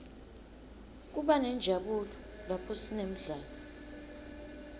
kubanenjabulo laphosinemidlalo